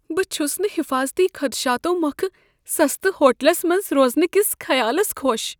بہٕ چھس نہٕ حفاظتی خدشاتو موكھہٕ سستہٕ ہوٹلس منٛز روزنہٕ کس خیالس خوش ۔